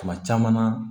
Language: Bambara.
Tuma caman na